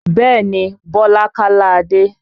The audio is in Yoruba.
Bẹ́ẹ̀ni Bọlá kálá Adé